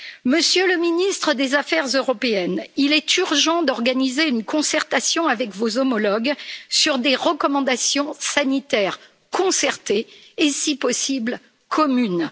Monsieur le Ministre des affaires européennes, il est urgent d'organiser une concertation avec vos homologues sur des recommandations sanitaires concertées et si possible, communes.